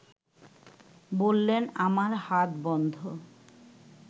বললেন আমার হাত বন্ধ